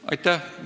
Aitäh!